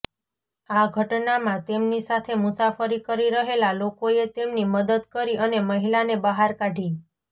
આ ઘટનામાં તેમની સાથે મુસાફરી કરી રહેલા લોકોએ તેમની મદદ કરી અને મહિલાને બહાર કાઢી